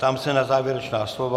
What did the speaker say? Ptám se na závěrečná slova.